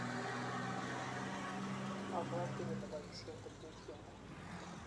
mabwoti kole boisie tetutieng'ung'